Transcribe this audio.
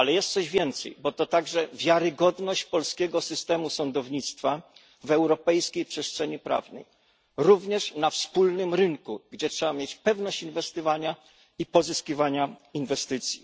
Ale jest coś więcej, bo to także wiarygodność polskiego systemu sądownictwa w europejskiej przestrzeni prawnej, również na wspólnym rynku, gdzie trzeba mieć pewność inwestowania i pozyskiwania inwestycji.